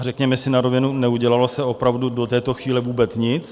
A řekněme si na rovinu, neudělalo se opravdu do této chvíle vůbec nic.